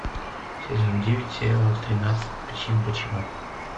сезон девять сериала тринадцать причин почему